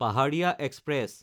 পাহাৰীয়া এক্সপ্ৰেছ